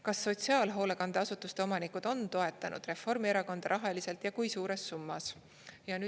Kas sotsiaalhoolekandeasutuste omanikud on toetanud Reformierakonda rahaliselt ja kui suures summas?